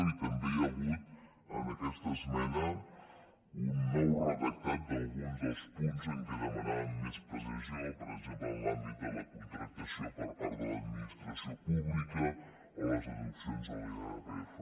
i també hi ha hagut en aquesta esmena un nou redactat d’alguns dels punts en què demanàvem més precisió per exemple en l’àmbit de la contractació per part de l’administració pública o les deduccions de l’irpf